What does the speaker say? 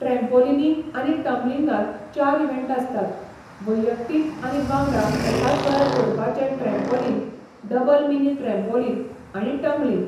Trampolining आनी टम्बलिंगांत चार इव्हँट आसतात, वैयक्तीक आनी वांगडा एकाच वेळार करपाचें ट्रॅम्पॉलिन, डबल मिनी ट्रॅम्पॉलिन आनी टम्बलिंग.